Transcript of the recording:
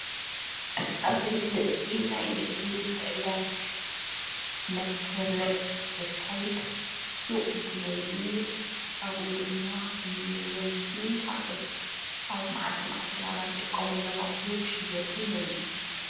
ኣብዚ ምስሊ እዚ ናይ ንግዲ ምትዕድዳግ መስርዕ ዘካይድ ሱቕ እንተንርኢ ኣብኡ ድማ ከምኒ ዘይቲን ካልኦት አብ መዓልቲ መዓልቲ ናብራ ንጥቀመሎም አቁሑ ክሽየጡ ንርኢ።